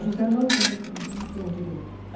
E São José não tem, não tinha direito.